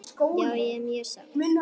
Já ég er mjög sátt.